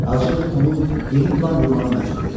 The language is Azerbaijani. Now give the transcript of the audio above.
Acılıq onu yeni plan qurmağa məcbur etdi.